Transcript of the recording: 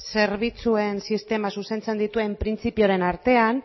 zerbitzuen sistema zuzentzen dituen printzipioen artean